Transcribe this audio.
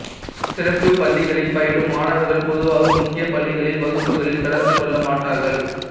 சிறப்புப் பள்ளிகளில் பயிலும் மாணவர்கள் பொதுவாக முக்கிய பள்ளிகளில் வகுப்புகளில் கலந்து கொள்ள மாட்டார்கள்